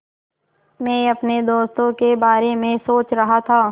मैं अपने दोस्तों के बारे में सोच रहा था